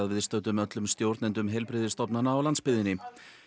viðstöddum öllum stjórnendum heilbrigðisstofnana á landsbyggðinni